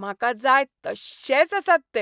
म्हाका जाय तश्शेच आसात ते.